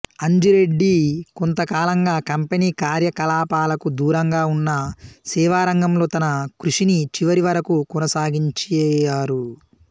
అంజిరెడ్డి కొంతకాలంగా కంపెనీ కార్యకలాపాలకు దూరంగా ఉంన్నా సేవారంగంలో తన కృషిని చివరి వరకు కొనసాగించారు